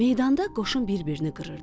Meydanda qoşun bir-birini qırırdı.